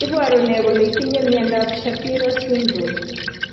Iporu ne kole itinye miondap Shapiro syndrome?